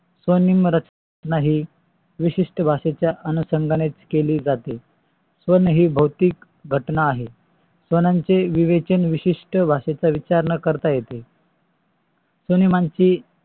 स्वनेम नाही. विशिष्ट भाषेच्या अनुषंगानेच केली जाते. हे भाव्तिक रचना आहे. स्वानाचे विवेचन विशिष्ट भाषेचा विचार न करता येतो स्वनियामाशी